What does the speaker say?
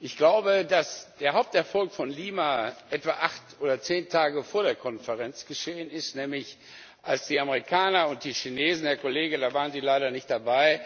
Ich glaube, dass der Haupterfolg von Lima etwa acht oder zehn Tage vor der Konferenz geschehen ist, nämlich als die Amerikaner und die Chinesen Herr Kollege, da waren Sie leider nicht dabei